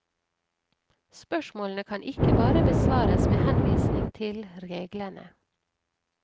Spørsmålene kan ikke bare besvares med henvisning til reglene.